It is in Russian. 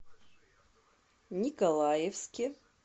николаевске